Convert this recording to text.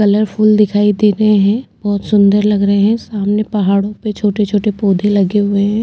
Colourful दिखाई देरे हैं बहौत सुंदर लग रहे हैं सामने पहाड़ो पे छोट-छोटे पौधे लगे हुए हैं।